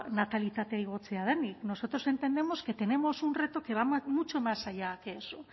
natalitatea igotzea denik nosotros entendemos que tenemos un reto que va mucho más allá que eso